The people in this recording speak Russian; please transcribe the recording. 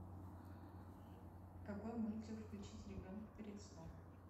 какой мультик включить ребенку перед сном